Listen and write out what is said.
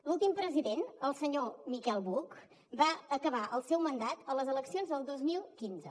l’últim president el senyor miquel buch va acabar el seu mandat a les eleccions del dos mil quinze